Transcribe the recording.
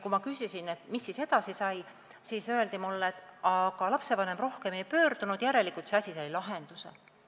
Kui ma küsisin, mis siis edasi sai, siis öeldi mulle, et aga lapsevanem rohkem ei pöördunud, järelikult sai see asi lahenduse.